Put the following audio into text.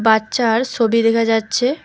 বাচ্চার সোটি দেখা যাচ্ছে।